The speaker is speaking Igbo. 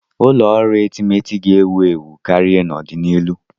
Ụlọ ọrụ etemeete ga-ewu ewu karịa n'ọdịnihu.